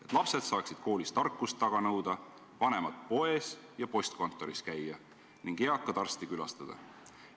Et lapsed saaksid koolis tarkust taga nõuda, vanemad poes ja postkontoris käia ning eakad arsti külastada.